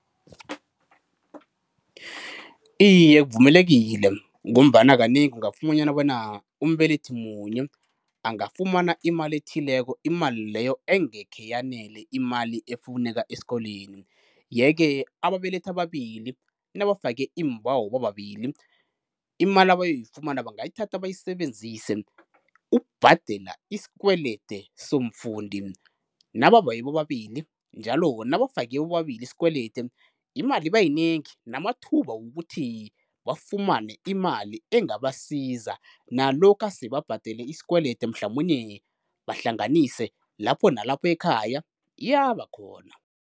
Iye kuvumelekile ngombana kanengi ungafumanyana bona umbelethi munye angafumana imali ethileko imali leyo engekhe yanele imali efuneka eskolweni. Ye ke ababelethi ababili nabafake imbawo bobabili imali abayoyifumana bangayithatha bayisebenzise ukubhadela isikwelede somfundi. Nababawe bobabili njalo nabafake bobabili isikwelede, imali iba yinengi namathuba wokuthi bafumane imali engabasiza nalokha sebabhadele isikwelede mhlamunye bahlanganise lapho nalapho ekhaya iyaba khona.